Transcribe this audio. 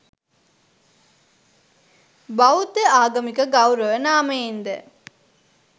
බෞද්ධ ආගමික ගෞරව නාමයෙන්ද